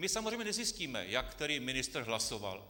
My samozřejmě nezjistíme, jak který ministr hlasoval.